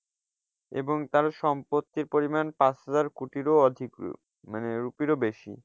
এবং তার সম্পত্তির পরিমাণ পাঁচ হাজার কোটিরও অধিক মানে rupee রও বেশি।